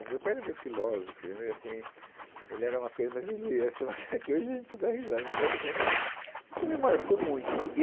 O meu pai era meio filósofo, ele era meio assim, ele era uma coisa... mas ele, essa, é que hoje a gente dá risada, mas a cena... Isso me marcou muito.